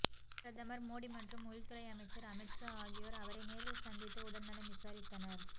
பிரதமர் மோடி மற்றும் உள்துறை அமைச்சர் அமித்ஷா ஆகியோர் அவரை நேரில் சந்தித்து உடல் நலம் விசாரித்தனர்